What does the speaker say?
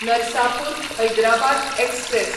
Narsapur Hyderabad express